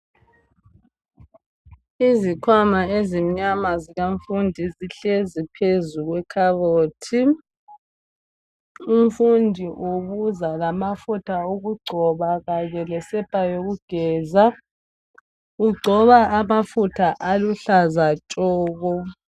Izikhwama ezimnyama zabafundi zihlezi phezu kwe khabothi umfundi ubuza lamafutha wokugcoba kanye lesepa yokugeza ugcoba amafutha aluhlaza tshoko.